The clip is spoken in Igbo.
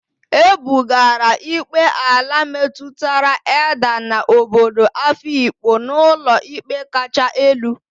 E bugara ikpe ala metụtara Edda na obodo afikpo n'ụlọikpe kacha elu.